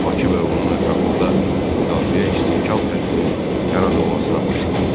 Bakı və onun ətrafında müdafiə istehkam xəttinin yaradılmasına başlanıldı.